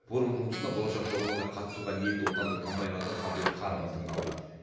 форум жұмысында болашақ жобаларға қатысуға ниетті отандық компаниялардың қабілет қарымы тыңдалды